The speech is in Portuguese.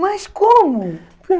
Mas como?